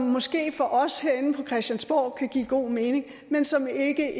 måske for os herinde på christiansborg kan give god mening men som ikke